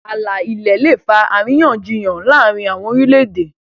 ààlà ilẹ lẹ fa àríyànjiyàn láàrin àwọn orilẹ-ède.